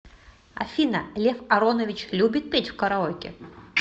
афина лев аронович любит петь в караоке